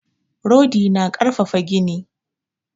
Rodi na ƙarfafa gini.